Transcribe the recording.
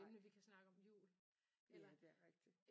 Nej ja det er rigtigt